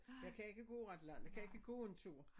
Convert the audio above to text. Jeg kan ikke gå ret langt jeg kan ikke gå en tur